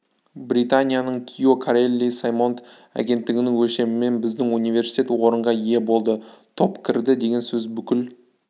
британияның кио карелли саймонт агенттігінің өлшемімен біздің университет орынға ие болды топ кірді деген сөз бүкіл